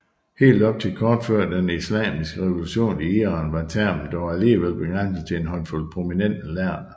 Helt op til kort før den islamiske revolution i Iran var termen dog alligevel begrænset til en håndfuld prominente lærde